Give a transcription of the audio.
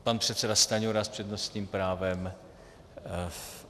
Pan předseda Stanjura s přednostním právem.